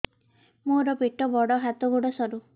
ମୋର ପେଟ ବଡ ହାତ ଗୋଡ ସରୁ